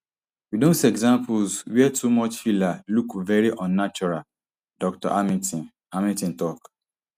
we don see examples wia too much filler look veri unnatural dr hamilton hamilton tok